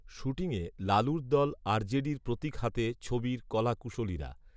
শ্যুটিংয়ে লালুর দল আরজেডির প্রতীক হাতে ছবির কলাকুশলীরা